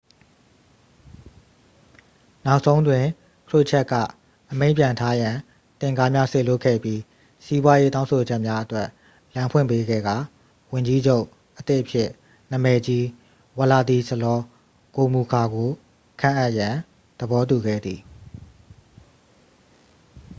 နောက်ဆုံးတွင် ခရွတ်ချပ်က အမိန့်ပြန်ထားရန် တင့်ကားများ စေလွှတ်ခဲ့ပြီး စီးပွားရေး တောင်းဆိုချက်များအတွက် လမ်းဖွင့်ပေးခဲ့ကာ ဝန်ကြီးချုပ်အသစ်အဖြစ် နာမည်ကြီး ဝလာဒီဆလော ဂိုမူလ်ခါကို ခန့်အပ်ရန် သဘောတူခဲ့သည်